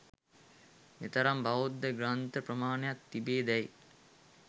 මෙතරම් බෞද්ධ ග්‍රන්ථ ප්‍රමාණයක් තිබේදැයි